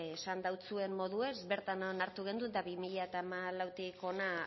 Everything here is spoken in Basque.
esan dautsuen moduez bertan onartu gendun eta bi mila hamalautik hona